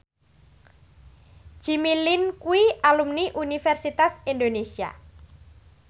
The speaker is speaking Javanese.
Jimmy Lin kuwi alumni Universitas Indonesia